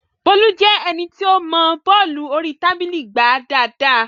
Bólú jẹ́ ẹni tí ó mọọ bọ́ọ̀lù orí tábìlì gbá dáadáa